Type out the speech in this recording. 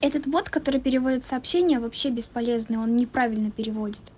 этот вот который переводит сообщения вообще бесполезный он неправильно переводит